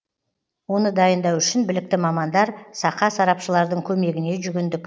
оны дайындау үшін білікті мамандар сақа сарапшылардың көмегіне жүгіндік